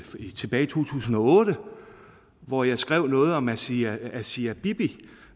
tilbage til to tusind og otte hvor jeg skrev noget om asia asia bibi